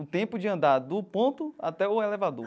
O tempo de andar do ponto até o elevador.